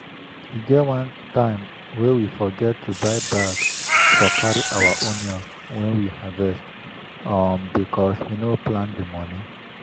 e get one time wey we forget to buy bag for carry our onions wey we harvest um bcos we no plan the moni